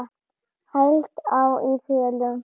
Heilt ár í felum.